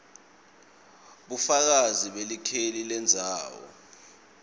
bufakazi belikheli lendzawo